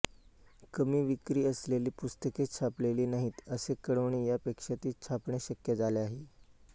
कमी विक्री असलेली पुस्तके छापलेली नाहीत असे कळविणे यापेक्षा ती छापणे शक्य झाले आहे